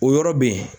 O yɔrɔ be yen